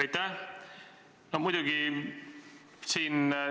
Aitäh!